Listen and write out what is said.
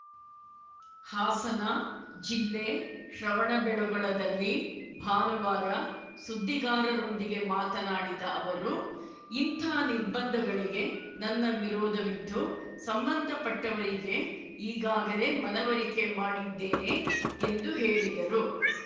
ಹಾಸನ ಜಿಲ್ಲೆ ಶ್ರವಣಬೆಳಗೊಳದಲ್ಲಿ ಭಾನುವಾರ ಸುದ್ದಿಗಾರರೊಂದಿಗೆ ಮಾತನಾಡಿದ ಅವರು ಇಂಥ ನಿರ್ಬಂಧಗಳಿಗೆ ನನ್ನ ವಿರೋಧವಿದ್ದು ಸಂಬಂಧಪಟ್ಟವರಿಗೆ ಈಗಾಗಲೇ ಮನವರಿಕೆ ಮಾಡಿದ್ದೇನೆ ಎಂದು ಹೇಳಿದರು